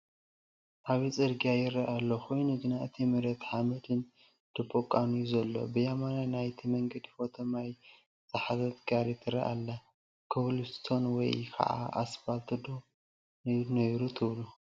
ዓብይ ፅርግያ ይረአ ኣሎ፣ ኮይኑ ግና እቲ መሬቱ ሓመድን ደቦቓን እዩ ዘሎ፡፡ ብየማናይ ናይቲ መንገዲ ሮቶ ማይ ዝሓዘት ጋሪ ትረአ ኣላ፡፡ ኮብኘልስቶን ወይ ከዓ ኣስፓልት ዶ ነድለዮ ኔይሩ ትብሉ?